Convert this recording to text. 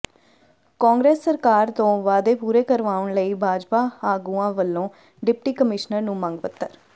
ਕਾਂਗਰਸ ਸਰਕਾਰ ਤੋਂ ਵਾਅਦੇ ਪੂਰੇ ਕਰਵਾਉਣ ਲਈ ਭਾਜਪਾ ਆਗੂਆਂ ਵੱਲੋਂ ਡਿਪਟੀ ਕਮਿਸ਼ਨਰ ਨੂੰ ਮੰਗ ਪੱਤਰ